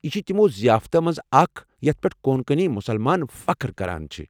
یہِ چھُ تِمَو ضِیافتو مَنٛزٕ اكھ یتھ پٮ۪ٹھ کونکنی مُسلمان فخر کران چھِ ۔